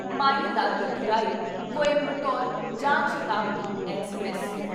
Mayiladuthurai Coimbatore Jan Shatabdi express